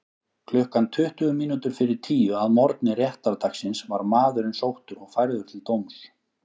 Klukkan tuttugu mínútur fyrir tíu að morgni réttardagsins var maðurinn sóttur og færður til dóms.